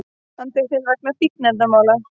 Handteknir vegna fíkniefnamála